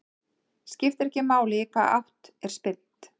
Skiptir ekki máli í hvaða átt er spyrnt.